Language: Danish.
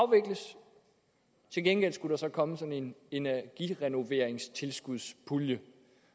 til gengæld skulle der så komme sådan en energirenoveringstilskudspulje